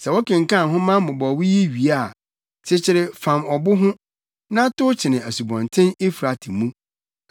Sɛ wokenkan nhoma mmobɔwee yi wie a, kyekyere fam ɔbo ho, na tow kyene Asubɔnten Eufrate mu.